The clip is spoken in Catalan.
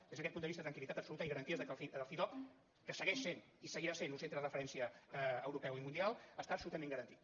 des d’aquest punt de vista tranquil·litat absoluta i garanties que el cidob que segueix sent i seguirà sent un centre de referència europeu i mundial està absolutament garantit